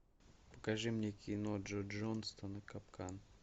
покажи мне кино джо джонстона капкан